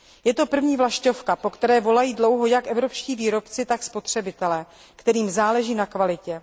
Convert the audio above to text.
Je to první vlaštovka, po které volají dlouho jak evropští výrobci, tak spotřebitelé, kterým záleží na kvalitě.